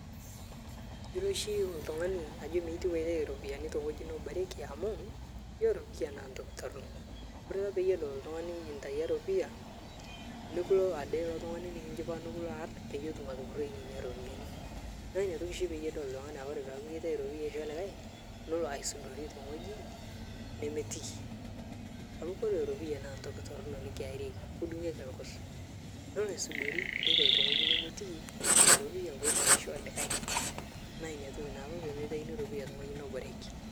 Ore oshi oltungani naa meitieu aitayu ropiyiani te wueji neboreki amu ore ropiyia naa ntoki torok ore ake pee edol oltungani intayio eropiyia idim ade ilo tungani nikilo aarr pe etum atupuroi ina ropiyiani naa ina oshi pee idol oltungani ore pee itayu eropiyia aisho olikae nelo aisudori te wueji nemetii amu koree ropiyia naa ntoki toronok nikiarieki nikidungieki rgos nelo aisudori neitayu te wueji nemetiiki ina ropiyia pee etum aishoo likae naa ina toki taa apa pee meitaini ropiyia te wueji neboreki